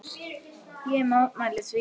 Ég mótmæli því.